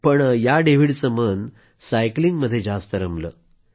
परंतु या डेव्हिडचं मन तर सायकलिंगमध्ये रमलं